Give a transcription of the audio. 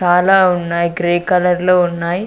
చాలా ఉన్నాయి గ్రే కలర్లో ఉన్నాయ్.